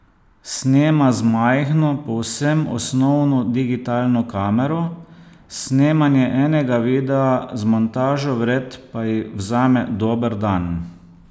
Snema z majhno, povsem osnovno digitalno kamero, snemanje enega videa z montažo vred pa ji vzame dober dan.